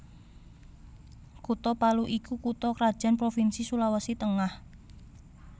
Kutha Palu iku kutha krajan provinsi Sulawesi Tengah